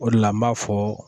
O de la n b'a fɔ .